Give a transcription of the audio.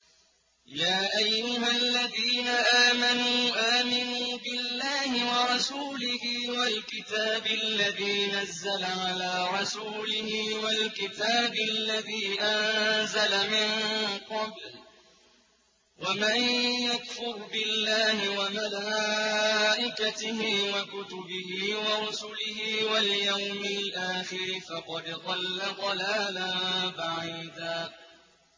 يَا أَيُّهَا الَّذِينَ آمَنُوا آمِنُوا بِاللَّهِ وَرَسُولِهِ وَالْكِتَابِ الَّذِي نَزَّلَ عَلَىٰ رَسُولِهِ وَالْكِتَابِ الَّذِي أَنزَلَ مِن قَبْلُ ۚ وَمَن يَكْفُرْ بِاللَّهِ وَمَلَائِكَتِهِ وَكُتُبِهِ وَرُسُلِهِ وَالْيَوْمِ الْآخِرِ فَقَدْ ضَلَّ ضَلَالًا بَعِيدًا